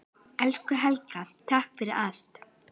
Elsku Helga, takk fyrir allt.